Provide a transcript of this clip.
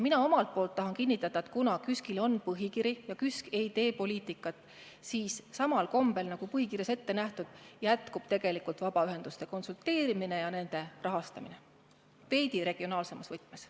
Mina omalt poolt tahan kinnitada, et kuna KÜSK-il on põhikiri ja KÜSK ei tee poliitikat, siis samal kombel, nagu põhikirjas on ette nähtud, jätkub edaspidigi vabaühendustega konsulteerimine ja nende rahastamine – veidi regionaalsemas võtmes.